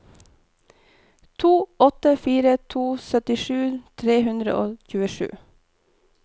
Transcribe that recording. to åtte fire to syttisju tre hundre og tjuesju